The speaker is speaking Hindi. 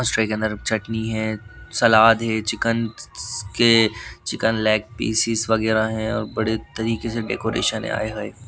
उस ट्रे के अंदर चटनी है सालाद है चिकन के चिकन लेग पीस इस वगैरा है और बड़े तरीके से डेकोरेशन है आय हाय।